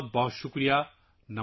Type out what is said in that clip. بہت بہت شکریہ